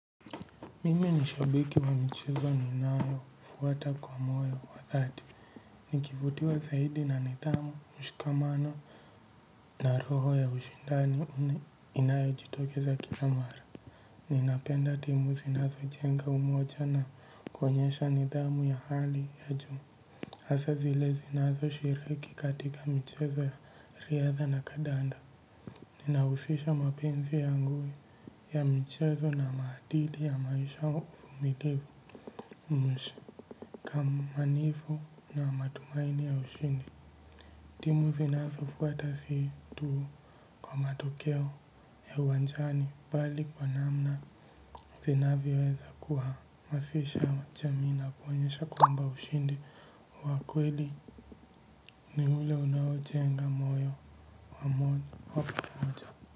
Mimi ni shabiki wa michezo ninayofuata kwa moyo wa dhati. Nikivutiwa zaidi na nidhamu, mshikamano na roho ya ushindani inayojitokeza kila mara. Ninapenda timu zinazojenga umoja na kuonyesha nidhamu ya hali ya juu hasa zile zinazoshiriki katika michezo ya riadha na kandanda. Ninahusisha mapenzi yangu ya michezo na maadili ya maisha uvumilivu kama nifu na matumaini ya ushindi timu zinazo fuata si tuu kwa matokeo ya uwanjani bali kwa namna zinavyo weza kuwa masisha jamii na kuoenyesha kwamba ushindi wa kweli ni ule unaojenga moyo wa pamoja.